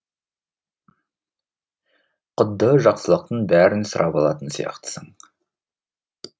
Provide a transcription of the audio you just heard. құдды жақсылықтың бәрін сұрап алатын сияқтысың